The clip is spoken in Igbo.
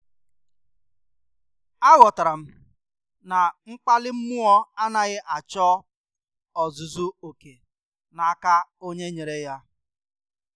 A ghotaram na mkpali mmụọ anaghị achọ ọzụzụ oké n' aka onye nyere ya.